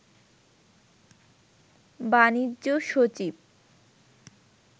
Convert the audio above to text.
বাণিজ্য সচিব